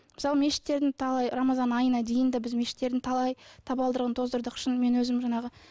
мысал мешіттердің талай рамазан айына дейін де біз мешіттердің талай табалдырығын тоздырдық шынымен өзім жаңағы